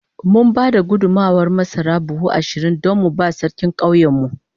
Mun ba da gudummawar masara buhu ashirin don mu ba Sarkin ƙauyenmu.